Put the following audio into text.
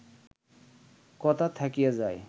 কথা থাকিয়া যায়